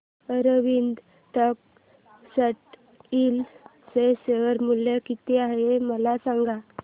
Arvind textile चे share मूल्य किती आहे मला सांगा